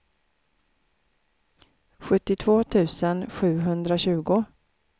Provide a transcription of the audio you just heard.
sjuttiotvå tusen sjuhundratjugo